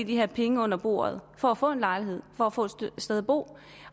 her penge under bordet for at få en lejlighed for at få et sted at bo